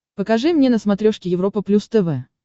покажи мне на смотрешке европа плюс тв